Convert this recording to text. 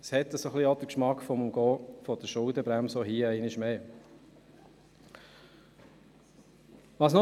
Es macht den Eindruck, als würde damit einmal mehr die Schuldenbremse umgangen werden.